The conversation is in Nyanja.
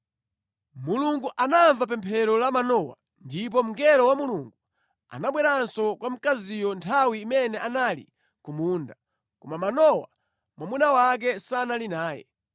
Mulungu anamva pemphero la Manowa, ndipo mngelo wa Mulungu anabweranso kwa mkaziyo nthawi imene anali ku munda, koma Manowa mwamuna wake sanali naye.